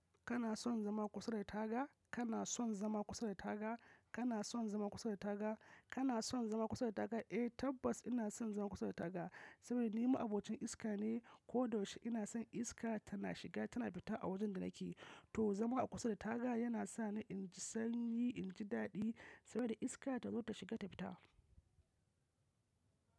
Kana son zama kusa da taga? Kana son zama kusa da taga? Kana son zama kusa da taga? Kana son zama kusa da taga? Eh tabbas ina son zama kusa da taga, saboda ni ma'abocin iska ne. Ko da yaushe ina san iska tana shiga tana fita a wajen da nake. To zama a kusa da taga yana sa ni in ji sanyi, in ji daɗi saboda iska ta zo ta shiga ta fita.